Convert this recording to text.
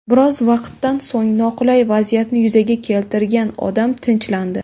Biroz vaqtdan so‘ng noqulay vaziyatni yuzaga keltirgan odam tinchlandi.